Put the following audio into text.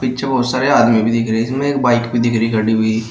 पीछे बहुत सारे आदमी भी दिख रहे हैं इसमें एक बाइक भी दिख रही है खड़ी हुई।